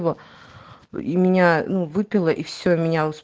его и меня ну выпила и все меня уже